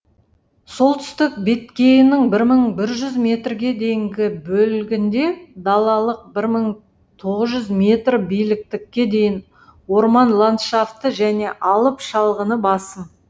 солтүстік беткейінің бір мың бір жүз метрге дейінгі бөлігінде далалық бір мың тоғыз жүз метр биліктікке дейін орман ландшафты және алып шалғыны басым